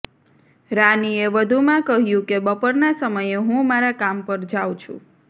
રાનીએ વધુમાં કહ્યું કે બપોરના સમયે હું મારા કામ પર જાઉં છું